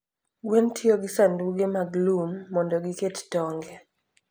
gwen tiyo gi sanduge mag lum mondo giket tong'e.